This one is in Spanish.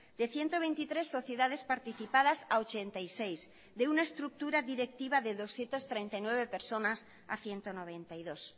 de ciento veintitrés sociedades participadas a ochenta y seis de una estructura directiva de doscientos treinta y nueve personas a ciento noventa y dos